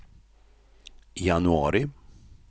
januari